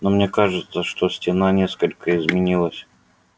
но мне кажется что стена несколько изменилась